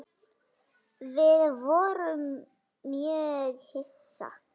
Við vorum mjög hissa.